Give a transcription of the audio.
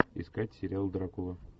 искать сериал дракула